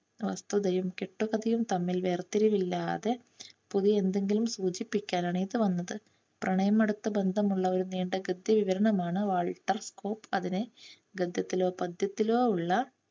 വസ്തുതയും കെട്ടുകഥയും തമ്മിൽ വേർത്തിരിവില്ലാതെ പുതിയ എന്തെങ്കിലും സൂചിപ്പിക്കാനാണ് ഇത് വന്നത്. പ്രണയമടുത്തു ബന്ധമുള്ള ഒരു നീണ്ട ഗദ്യ വിവരണം ആണ് വാൾട്ടർ സ്കൂപ്പ് അതിനെ ഗദ്യത്തിലോ പദ്യത്തിലോ ഉള്ള